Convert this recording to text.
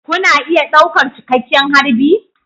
Kuna iya ɗaukar cikakken harbi